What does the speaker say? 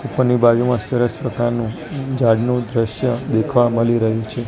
ઉપરની બાજુમાં સરસ પ્રકારનું ઝાડનું દ્રશ્ય દેખવા મલી રહ્યુ છે.